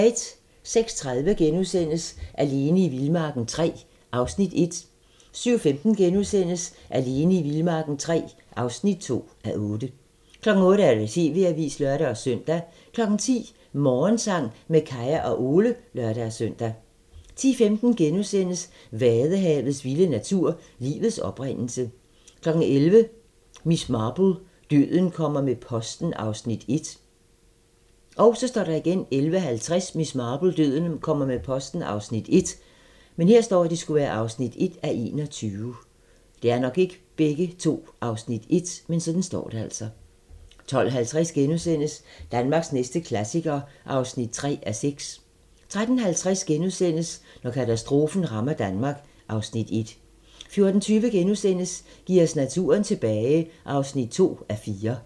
06:30: Alene i vildmarken III (1:8)* 07:15: Alene i vildmarken III (2:8)* 08:00: TV-avisen (lør-søn) 10:00: Morgensang med Kaya og Ole (lør-søn) 10:15: Vadehavets vilde natur: Livets oprindelse * 11:00: Miss Marple: Døden kommer med posten (Afs. 1) 11:50: Miss Marple: Døden kommer med posten (1:21) 12:50: Danmarks næste klassiker (3:6)* 13:50: Når katastrofen rammer Danmark (Afs. 1)* 14:20: Giv os naturen tilbage (2:4)*